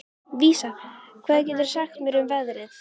Vísa, hvað geturðu sagt mér um veðrið?